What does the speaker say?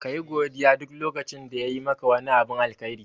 Kayi godiya duk lokacin da yayi maka wani abin alkhairi.